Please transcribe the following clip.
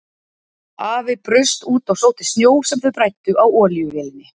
Afi braust út og sótti snjó sem þau bræddu á olíuvélinni.